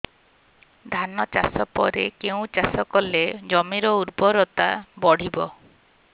ଧାନ ଚାଷ ପରେ କେଉଁ ଚାଷ କଲେ ଜମିର ଉର୍ବରତା ବଢିବ